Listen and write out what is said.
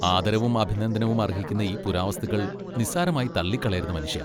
ആദരവും അഭിനന്ദനവും അർഹിക്കുന്ന ഈ പുരാവസ്തുക്കൾ നിസ്സാരമായി തള്ളിക്കളയരുത് മനുഷ്യാ.